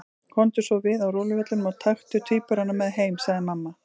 Komdu svo við á róluvellinum og taktu tvíburana með heim, sagði mamma.